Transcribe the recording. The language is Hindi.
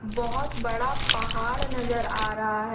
बहुत बड़ा पहाड़ नजर आ रहा है।